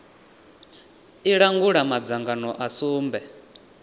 i langula madzangano a sumbe